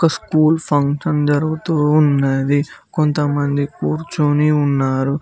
School function జరుగుతూ ఉన్నది కొంత మంది కూర్చొని ఉన్నారు.